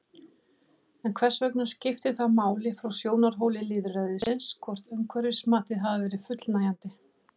En hvers vegna skiptir það máli frá sjónarhóli lýðræðisins hvort umhverfismatið hafi verið fullnægjandi?